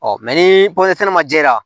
ni sɛnɛ ma jɛya